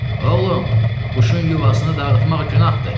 Oğlum, quşun yuvasını dağıtmaq günahdır.